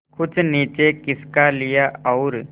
कुछ नीचे खिसका लिया और